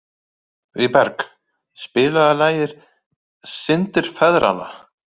Vígberg, spilaðu lagið „Syndir feðranna“.